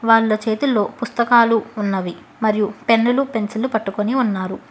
వాళ్ల చేతుల్లో పుస్తకాలు ఉన్నవి మరియు పెన్నులు పెన్సిల్లు పట్టుకుని ఉన్నారు.